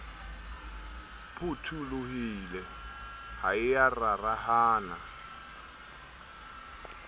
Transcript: phutholohile ha e ya rarahana